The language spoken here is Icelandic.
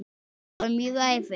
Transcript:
Það var mjög erfitt.